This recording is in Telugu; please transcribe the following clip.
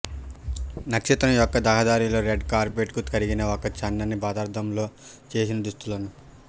నక్షత్రం యొక్క రహదారిలో రెడ్ కార్పెట్ కు కరిగిన ఒక సన్నని పదార్థంతో చేసిన దుస్తులను